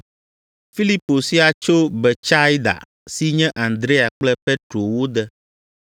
Filipo sia tso Betsaida si nye Andrea kple Petro wo de.